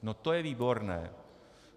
No to je výborné.